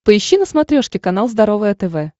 поищи на смотрешке канал здоровое тв